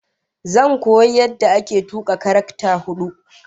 Zan koyi yadda ake tuka taraktar huda